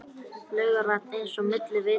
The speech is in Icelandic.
Laugarvatn eins og milli vita.